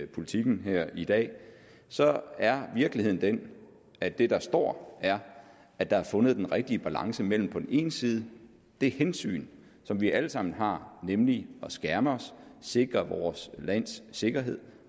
politiken her i dag så er virkeligheden den at det der står er at der er fundet den rigtige balance mellem på den ene side det hensyn som vi alle sammen har nemlig at skærme os sikre vores lands sikkerhed